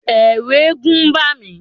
Ẹ̀ẹ̀rù eégún ń bà mí.